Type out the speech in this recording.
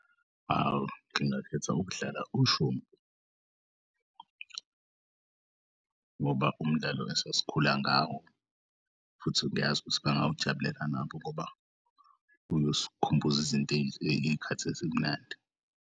Hawu, ngingakheth'kudlala ushumpu ngoba umdlalo esasikhula ngawo futhi ngiyazi ukuthi bangawujabulela nabo ngoba uyosikhumbu'zinto iy'khathi ezimnandi.